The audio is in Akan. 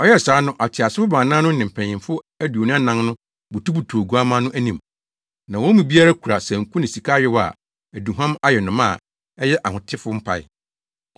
Ɔyɛɛ saa no, ateasefo baanan no ne mpanyimfo aduonu anan no butubutuw Oguamma no anim. Na wɔn mu biara kura sanku ne sika ayowa a aduhuam ayɛ no ma a ɛyɛ ahotefo mpae.